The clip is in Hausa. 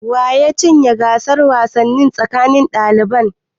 Wa ya cinye gasar wasanni tsakanin daliban?